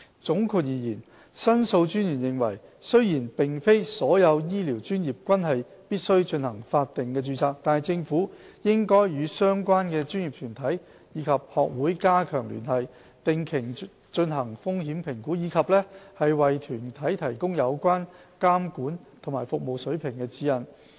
總括而言，申訴專員認為，雖然並非所有醫療專業均必須進行法定註冊，但政府應與相關專業團體及學會加強聯繫，定期進行風險評估，以及為團體提供有關監管和服務水平的指引。